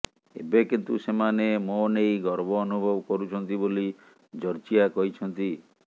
ଏବେ କିନ୍ତୁ ସେମାନେ ମୋ ନେଇ ଗର୍ବ ଅନୁଭବ କରୁଛନ୍ତି ବୋଲି ଜର୍ଜିଆ କହିଛନ୍ତି